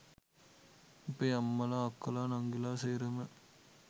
අපේ අම්මලා අක්කලා නංගිලා සේරම